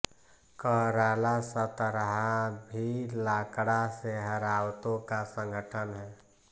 कराला सतरहा भी लाकड़ा सेहरावतों का संगठन है